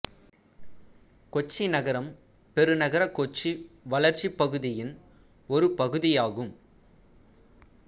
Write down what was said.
கொச்சி நகரம் பெருநகர கொச்சி வளர்ச்சிப் பகுதியின் ஒரு பகுதியாகும்